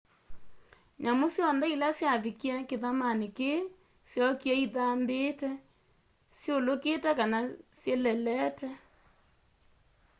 nyamũ syonthe ila syavikĩe kĩthamanĩ kĩĩ syookĩe ithambĩĩte syũlũkĩte kana syĩlelete